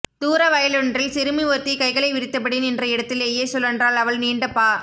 தூர வயலொன்றில் சிறுமி ஒருத்தி கைகளை விரித்தபடி நின்ற இடத்திலேயே சுழன்றாள் அவள் நீண்ட பா